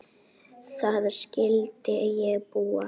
Þar skyldi ég búa.